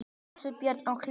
Ásbjörn og Hlíf.